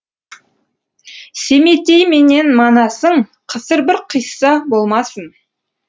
семетей менен манасың қысыр бір қисса болмасын